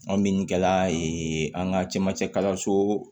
An min kɛla an ka camancɛ kalanso